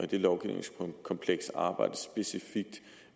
det lovgivningskompleks arbejdes specifikt